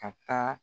Ka taa